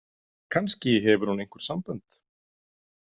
Kannski hefur hún einhver sambönd?